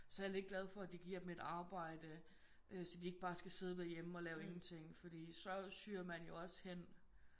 Så er jeg lidt glad for at de giver dem et arbejde øh så de ikke bare skal sidde derhjemme og lave ingenting fordi så syrer man jo også hen